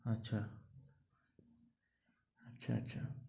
আচ্ছা আচ্ছা আচ্ছা।